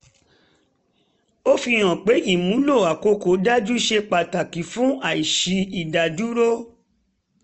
ó fi hàn pé ìmúlò àkókò dájú ṣe pàtàkì fún àìsí ìdádúró